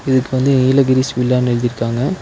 இதுக்கு வந்து நீலகிரிஸ் வில்லானு எழுதிருக்காங்க.